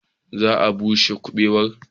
Za a bushe kubewar.